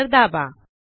enter दाबा